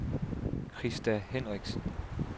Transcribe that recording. Krista Henriksen